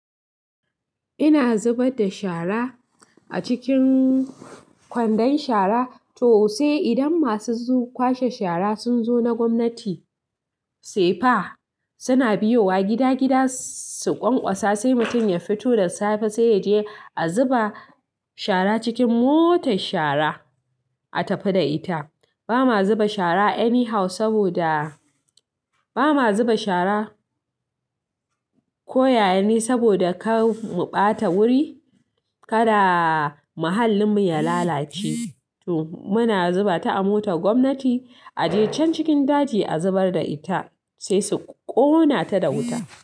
Ina zubar da shara a cikin kwandon shara to sai idan masu kwashe shara sun zo na gwamnati, sai fa suna biyowa gida-gida su ƙwaƙwasa sai mutum ya fito da safe sai ya je a zuba shara cikin motar shara a tafi da ita. Ba ma zuba shara any how saboda, ba ma zuba shara koyayene saboda kar mu ɓata wuri, kada muhallin mu ya lalace. To muna zuba ta a motar gwamnati, a je can cikin daji a zubar da ita sai su ƙona ta da wuta.